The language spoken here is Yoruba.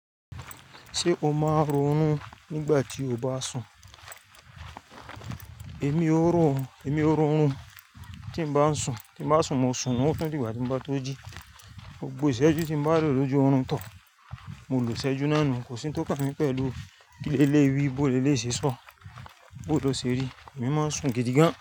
Ṣé o máa ń ronú nígbà tí o bá sùn? Èmi ó ró, èmi ó ronú tí bá ń sùn. Tí bá sùn, mo sùn mú ọ̀tún dígbà tí mo bá tó jí. Gbogbo ìṣẹ́jú tí mo bá lò lójú ọ̀run tọ́, mo lo ìṣẹ́jú náà nù. Kò sí ohun tó kà mí pẹ̀lú kí lé lé wí, bó lé lé ṣe sọ, bó ló ṣe rí. Èmi máa ń sùn gidi gan.